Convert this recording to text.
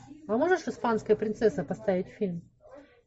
а можешь испанская принцесса поставить фильм